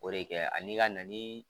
O de kɛ ani i ka na ni